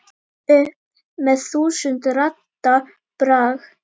upp með þúsund radda brag.